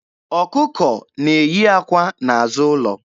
Ọkụkọ ya na-eyí àkwá n'azụ ụlọ.